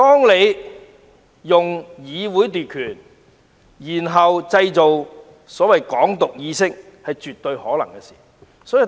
利用議會來奪權，再製造所謂的"港獨"意識，是絕對有可能的事。